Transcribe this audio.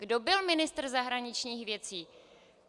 Kdo byl ministr zahraničních věcí?